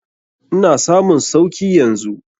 Ina samun sauki yanzu.